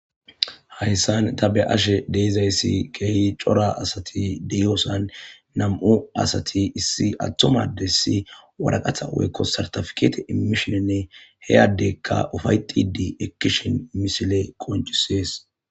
Hayisan ta be ashe dizayisi kehi cora asati deyosan na,mu asati issi atuma adesi woraqata woyiko sartifikete imishin he addeka ufayetidi ekishin misile qonc,ises